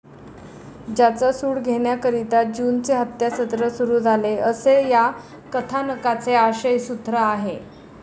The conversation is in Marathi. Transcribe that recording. त्याचा सूड घेण्याकरीता ज्यूंचे हत्यासत्र सुरु झाले, असे या कथानकाचे आशयसूत्र आहे.